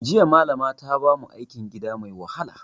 Jiya Malama ta bamu aikin gida mai wahala